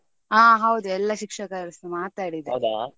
ಹಾ ಹೌದು ಎಲ್ಲಾ ಶಿಕ್ಷಕರುಸ ಮಾತಾಡಿದಾರೆ .